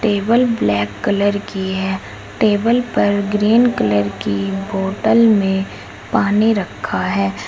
Table black colour की है table पर ग्रीन कलर की बॉटल में पानी रखा है।